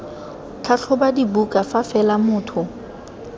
tlhatlhoba dibuka fa fela motho